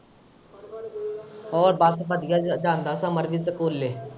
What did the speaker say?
ਹੋਰ ਬਸ ਵਧੀਆ ਜਾਂਦਾ ਸਮਰ ਵੀ ਸਕੂਲੇ।